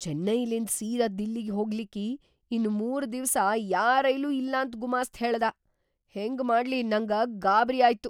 ಚೆನ್ನೈಲಿಂದ್‌ ಸೀದಾ ದಿಲ್ಲಿಗಿ ಹೋಗ್ಲಿಕ್ಕಿ ಇನ್‌ ಮೂರ್‌ ದಿವ್ಸ ಯಾ ರೈಲೂ ಇಲ್ಲಾಂತ್‌ ಗುಮಾಸ್ತ್‌ ಹೇಳ್ದಾ, ಹೆಂಗ್‌ ಮಾಡ್ಲಿ ನಂಗ ಗಾಬ್ರ್ಯಾಯ್ತು.